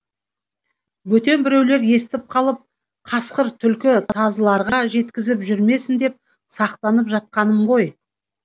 бөтен біреулер естіп қалып қасқыр түлкі тазыларға жеткізіп жүрмесін деп сақтанып жатқаным ғой